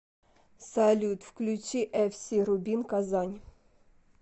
салют включи эф си рубин казань